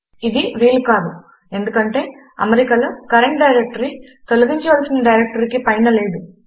ఇది వీలు కాదు ఎందుకంటే అమరికలో కరంట్ డైరెక్టరీ తొలగించవలసిన డైరెక్టరీకి పైన లేదు